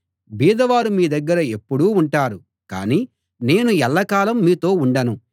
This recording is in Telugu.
బీదవారు మీ దగ్గర ఎప్పుడూ ఉంటారు కానీ నేను ఎల్లకాలం మీతో ఉండను